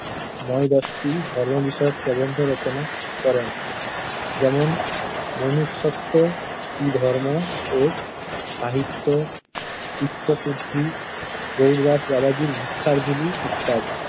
নয়-দশটি ধর্মবিষয়ক প্রবন্ধ রচনা করেন। যেমন, মনুষত্ব্য, ধর্ম ও সাহিত্য, চিত্তশুদ্ধি, গৌরদাস বাবাজির ভিক্ষার ঝুলি ইত্যাদি।